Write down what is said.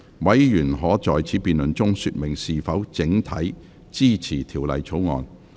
委員可在此辯論中說明是否整體支持條例草案。